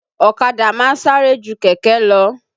Ọ̀kadà máa ń sáré ju kẹ̀kẹ́ lọ